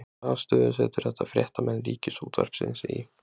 Hvaða stöðu setur þetta fréttamenn Ríkisútvarpsins í?